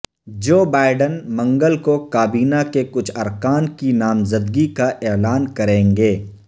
جو بائیڈن منگل کو کابینہ کے کچھ ارکان کی نامزدگی کا اعلان کریں گے